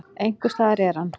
Einhvers staðar er hann.